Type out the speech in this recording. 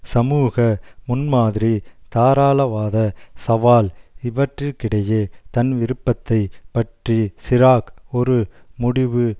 சமூக முன்மாதிரி தாராளவாதச் சவால் இவற்றிற்கிடையே தன் விருப்பத்தை பற்றி சிராக் ஒரு முடிவு